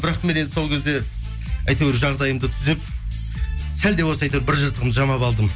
бірақ мен енді сол кезде әйтеуір жағдайымды түзеп сәл де болса әйтеуір бір жыртығымды жамап алдым